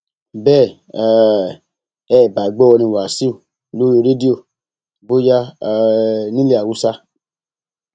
bẹ um ẹ ẹ bá gbọ orin wáṣíù lórí rédíò bóyá um nílẹ haúsá